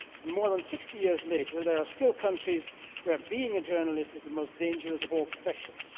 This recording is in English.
More than 60 years later there are still countries where journalism is the most dangerous of all professions.